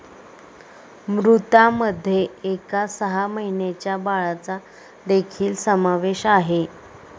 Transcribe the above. मृतांमध्ये एका सहा महिन्यांच्या बाळाचा देखील समावेश आहे.